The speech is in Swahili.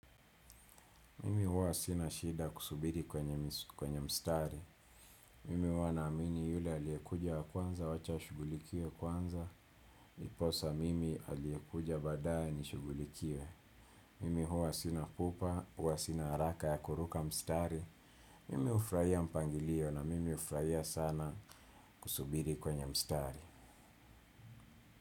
Mimi huwa sina shida kusubiri kwenye mstari. Mimi huwa naamini yule aliyekuja wa kwanza wacha ashughulikiwe kwanza. Iposa mimi aliyekuja baadaye nishugulikiwe. Mimi huwa sina pupa, huwa sina haraka ya kuruka mstari. Mimi hufurahia mpangilio na mimi hufurahia sana kusubiri kwenye mstari.